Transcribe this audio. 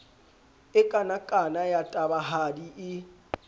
e kanakana ya tabahadi e